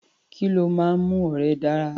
Kí ló máa ń mú ọ̀rẹ́ dára?